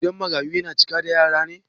Gidan marayu ya cika da yara ne?